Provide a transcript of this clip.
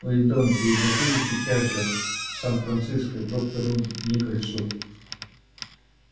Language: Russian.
уидон телеграфируй сейчас же в сан-франциско доктору никольсу